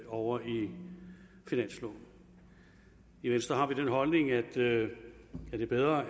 over i finansloven i venstre har vi den holdning at det er bedre at